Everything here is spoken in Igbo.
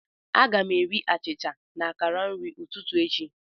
Aga m eri achịcha na akara nri ụtụtụ echi.